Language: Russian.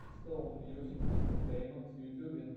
стоун мьюзик энтертейнмент в ютубе